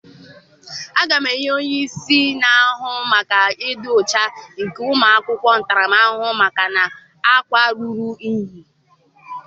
Aga m enye onye isi na-ahụ maka ịdị ọcha nke ụmụ akwụkwọ ntaramahụhụ maka na-akwa ruru inyi.